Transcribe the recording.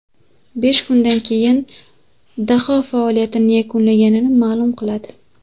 Besh kundan keyin daho faoliyatini yakunlaganini ma’lum qiladi.